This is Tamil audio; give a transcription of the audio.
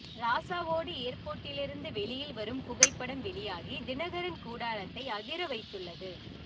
ராசாவோடு ஏர்போர்ட்டிலிருந்து வெளியில் வரும் புகைப்படம் வெளியாகி தினகரன் கூடாரத்தை அதிரவைத்துள்ளது